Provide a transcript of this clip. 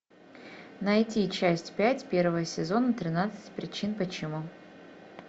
найти часть пять первого сезона тринадцать причин почему